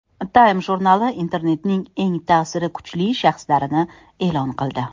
Time jurnali Internetning eng ta’siri kuchli shaxslarini e’lon qildi.